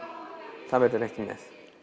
það verður ekki með